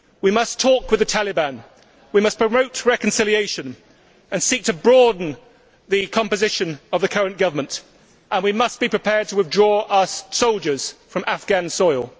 we must talk with the Taliban, we must promote reconciliation and seek to broaden the composition of the current government and we must be prepared to withdraw our soldiers from Afghan soil.